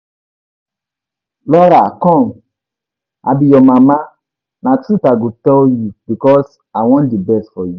Lora come, I be your mama, na truth I go tell you because I wan the best for you